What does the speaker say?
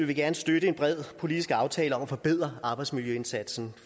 vi gerne støtte en bred politisk aftale om at forbedre arbejdsmiljøindsatsen